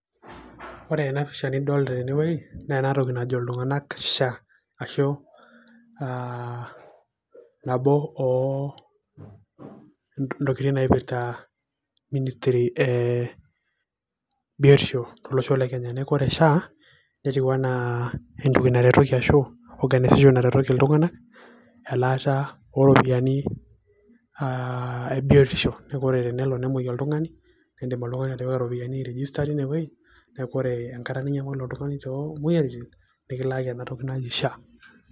ore ena pisha nidolta tene naa enatoki najo iltunanak SHA ,Ashu nabo oo ntokitin naipirta ministry e biotisho tolosho le Kenya . niaku ore SHA netiu anaa entoki naretoki ashu organization naretoki iltunganak elaata oroopiyiani e biotisho . niaku ore tenelo nemwoi oltungani ,indim oltungani atipika iropiyiani ai register ine wueji niaku ore enkata ninyamal oltungani tomwoyiaritin nikilaaki ena toki naji SHA.